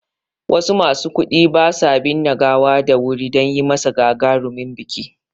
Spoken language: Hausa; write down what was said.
Wasu masu kuɗi basu binne gawa da wuri dan yimasa gagarumin biki